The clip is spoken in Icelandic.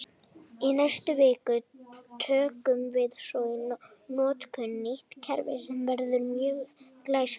Í næstu viku tökum við svo í notkun nýtt kerfi sem verður mjög glæsilegt!